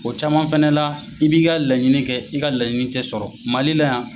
O caman fɛnɛ la i b'i ka laɲini kɛ i ka laɲini tɛ sɔrɔ, mali la yan.